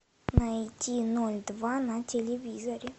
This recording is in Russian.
найди ноль два на телевизоре